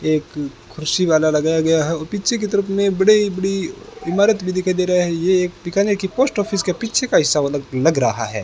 एक कुर्सी वाला लगाया गया है और पीछे की तरफ मे बड़ी बड़ी इमारत भी दिखाई दे रहा है ये एक बीकानेर की पोस्ट ऑफिस के पीछे का हिस्सा लग रहा है।